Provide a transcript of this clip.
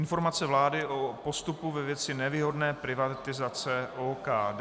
Informace vlády o postupu ve věci nevýhodné privatizace OKD